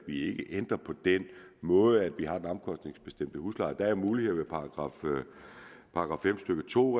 vi ikke ændrer på den måde hvorpå vi har den omkostningsbestemte husleje der er muligheder § fem stykke to